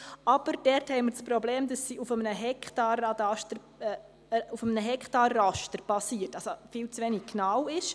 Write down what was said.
Doch haben wir dort das Problem, dass sie auf einem Hektarraster basiert und somit viel zu wenig genau ist.